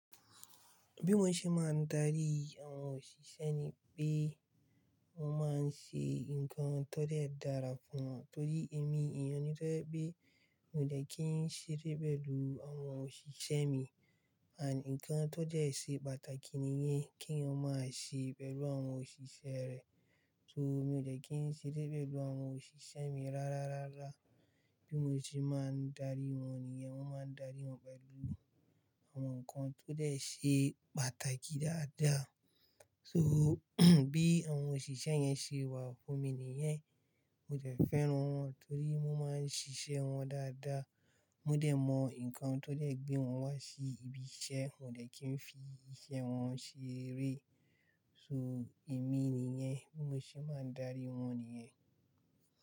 Bí mo ṣe máa ń darí àwọn òṣìṣẹ́ ni pé mó máa ń ṣe nǹkan tó dẹ dara fún wọn. Torí èmi èèyàn ni tó yé pé mi ò dẹ́ kí ń ṣeré pẹ̀lú àwọn òṣìṣẹ́ mi. Àn nǹkan tó jẹ́ ṣe pàtàkì ni yen, kí èèyàn má ṣe pẹ̀lú àwọn òṣìṣẹ́ rẹ̀. So mi ò dẹ́ kí ń ṣeré pẹ̀lú àwọn òṣìṣẹ́ mi rárárárá. Bí mo ṣe máa ń darí wọn nìyẹn, mo máa ń darí wọn pẹ̀lú àwọn nǹkan tó dẹ́ ṣe pàtàkì dáadáa. So bí àwọn òṣìṣẹ́ yẹn ṣe wà fún mi nìyẹn, mo dẹ́ fẹ́ràn wọn torí wọ́n máa ń ṣiṣẹ́ wọn dáadáa. Mo dẹ̀ mọ nǹkan tó dẹ́ gbé wọn wá sí ibi iṣẹ́, wón dẹ́ kí ń fi iṣẹ́ wọn ṣeré. So èmi ni yẹn, bí mo ṣe máa ń darí wọn nìyẹn.